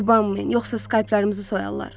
Yubanmayın, yoxsa skayplarımızı soyarlar.